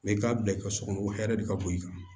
i k'a bila i ka so kɔnɔ hɛrɛ de ka bon i kan